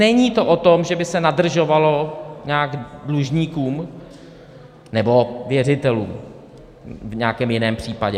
Není to o tom, že by se nadržovalo nějak dlužníkům nebo věřitelům v nějakém jiném případě.